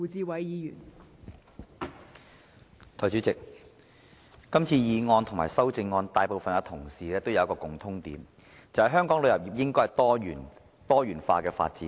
代理主席，今次的議案和修正案，大部分同事都提出一個共通點，便是香港的旅遊業應該多元化發展。